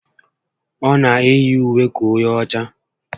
O na eyi ùwé ka onye ọchá